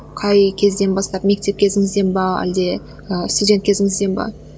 қай кезден бастап мектеп кезіңізден бе әлде ііі студент кезіңізден бе